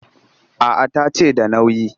A'a ta ce da nauyi